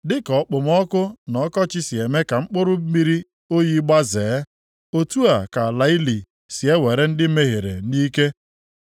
Dịka okpomọkụ na ọkọchị si eme ka mkpụrụ mmiri oyi gbazee, otu a ka ala ili si ewere ndị mehiere nʼike.